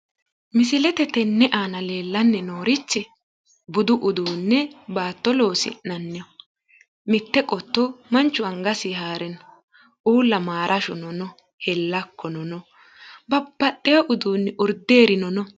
misilete tenne aana leellanni noorichi budu uduunne baatto loosi'naniho mitte qotto manchu angasinni haare no uulla maarashuno no babaxeewo uduunni urdeerino no.